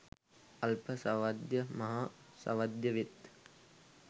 අල්ප සාවද්‍ය මහා සාවද්‍යවෙත්.